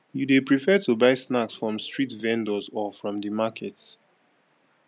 you dey prefer to buy snacks from street vendors or from di market